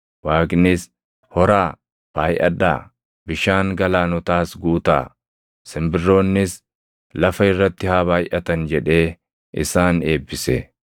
Waaqnis, “Horaa; baayʼadhaa; bishaan galaanotaas guutaa; simbirroonnis lafa irratti haa baayʼatan” jedhee isaan eebbise.